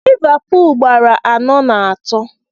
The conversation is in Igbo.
Livapul gbara anọ na atọ